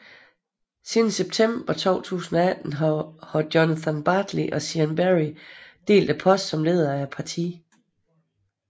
Siden september 2018 har Jonathan Bartley og Siân Berry delt posten som leder af partiet